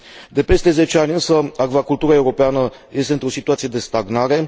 De peste 10 ani, însă, acvacultura europeană este într o situație de stagnare.